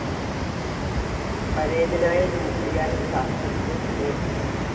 പരേതനായ ന്യൂക്ലിയർ ശാസ്ത്രജ്ഞൻ എം.